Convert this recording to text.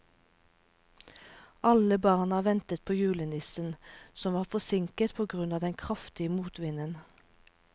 Alle barna ventet på julenissen, som var forsinket på grunn av den kraftige motvinden.